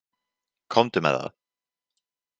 Komdu með það!